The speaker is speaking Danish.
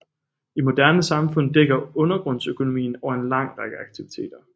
I moderne samfund dækker undergrundsøkonomien over en lang række aktiviteter